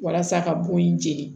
Walasa ka bon in jeni